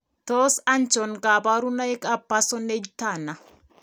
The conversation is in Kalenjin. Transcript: Tos achon kabarunaik ab Parsonage Turner ?